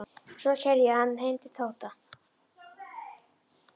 Svo keyrði ég hann heim til Tóta.